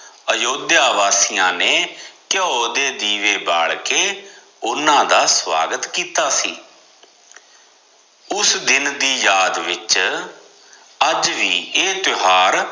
ਅਯੋਧਿਆ ਵਾਸੀਆਂ ਨੇ ਘਿਓ ਦੇ ਦੀਵੇ ਬਾਲ ਕੇ ਓਹਨਾ ਦਾ ਸਵਾਗਤ ਕਿੱਤਾ ਸੀ ਉਸ ਦਿਨ ਦੀ ਯਾਦ ਵਿਚ ਅੱਜ ਵੀ ਇਹ ਤਿਓਹਾਰ